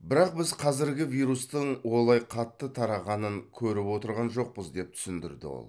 бірақ біз қазіргі вирустың олай қатты тарағанын көріп отырған жоқпыз деп түсіндірді ол